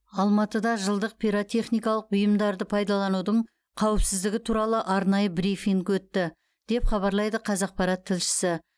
алматыда жылдық пиротехникалық бұйымдарды пайдаланудың қауіпсіздігі туралы арнайы брифинг өтті деп хабарлайды қазақпарат тілшісі